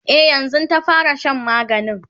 e yanzun ta fara Shan maganin